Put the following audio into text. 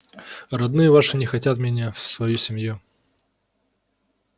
родные ваши не хотят меня в свою семью